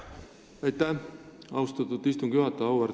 Aitäh, austatud istungi juhataja!